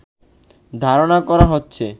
ধারণা করা হচ্ছে